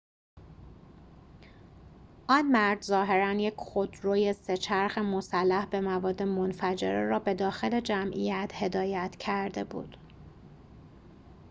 آن مرد ظاهراً یک خودروی سه‌چرخ مسلح به مواد منفجره را به داخل جمعیت هدایت کرده بود